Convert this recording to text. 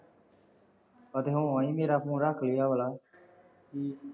ਮੇਰਾ phone ਰੱਖ ਲਈ ਆਹ ਵਾਲਾ। ਹਮ